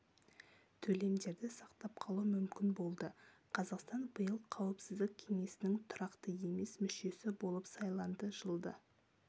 төлемдерді сақтап қалу мүмкін болды қазақстан биыл қауіпсіздік кеңесінің тұрақты емес мүшесі болып сайланды жылды